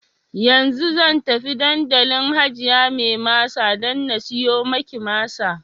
Yanzu zan tafi dandalin hajiya mai masa dan na siyo maki masa